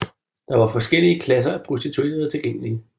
Der var forskellige klasser af prostituerede tilgængelige